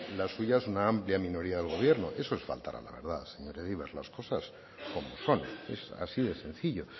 la suya es una amplia minoría del gobierno eso es faltar a la verdad señor egibar las cosas como son así de sencillo